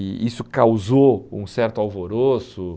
E isso causou um certo alvoroço.